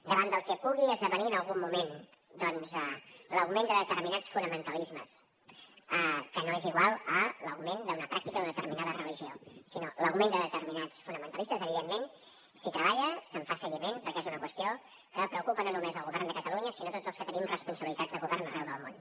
davant del que pugui esdevenir en algun moment l’augment de determinats fonamentalismes que no és igual a l’augment d’una pràctica d’una determinada religió sinó l’augment de determinats fonamentalismes evidentment s’hi treballa se’n fa seguiment perquè és una qüestió que preocupa no només el govern de catalunya sinó a tots els que tenim responsabilitats de govern arreu del món